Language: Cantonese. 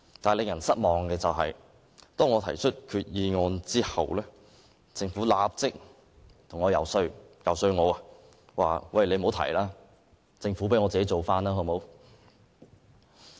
但是，令人失望的是，當我提出擬議決議案後，政府立刻遊說我不要提出，而交由政府提出。